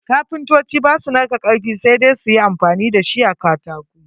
Kapintoci ba su narka karfi, sai dai su yi amfani da shi a katako.